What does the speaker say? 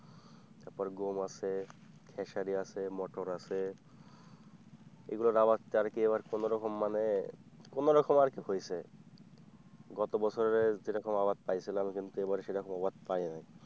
তারপর গম আছে খেসারি আছে মটর আছে এগুলোর আবার যার কি কোনো রকম মানে কোন রকমে আর কি হয়েছে গত বছরে যেরকম আবাদ পাইছিলাম কিন্তু এবারে সেরকম আবাদ পায় নাই।